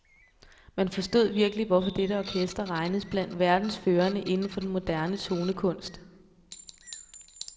Man forstod virkelig hvorfor dette orkester regnes blandt verdens førende inden for den moderne tonekunst.